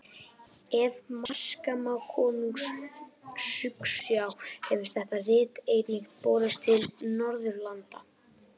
Ef marka má Konungs skuggsjá hefur þetta rit einnig borist til Norðurlanda.